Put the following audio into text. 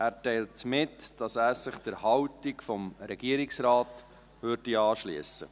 Er teilt mit, dass er sich der Haltung des Regierungsrates anschliesst.